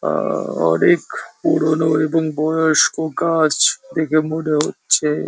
আ অনেক পুরনো এবং বয়স্ক গাছ দেখে মনে হচ্ছে।